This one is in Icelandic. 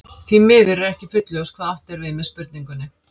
Því miður er ekki fullljóst hvað átt er við með spurningunni.